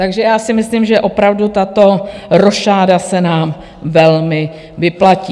Takže já si myslím, že opravdu tato rošáda se nám velmi vyplatí.